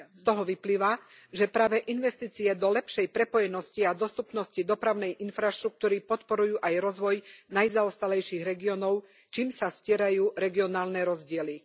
Z toho vyplýva, že práve investície do lepšej prepojenosti a dostupnosti dopravnej infraštruktúry podporujú aj rozvoj najzaostalejších regiónov, čím sa stierajú regionálne rozdiely.